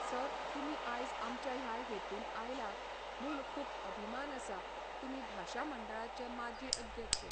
sir तुमी आयज आमच्या ह्या हेतून आयला म्हूण खूब अभिमान आसा तुमी भाशा मंडळाचे माजी अध्यक्ष